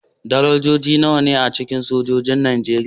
Darajoji nawa ne a cikin sojojin Najeriya?